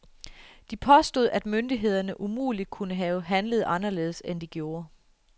Depåstod, at myndighederne umuligt kunne have handlet anderledes, end de gjorde.